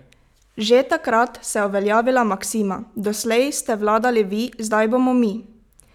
Že takrat se je uveljavila maksima: "Doslej ste vladali vi, zdaj bomo mi.